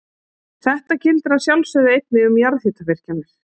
Þetta gildir að sjálfsögðu einnig um jarðhitavirkjanir.